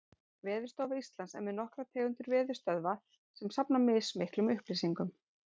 Veðurstofa Íslands er með nokkrar tegundir veðurstöðva sem safna mismiklum upplýsingum.